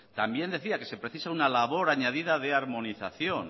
también decía que se precisa una labor añadida de armonización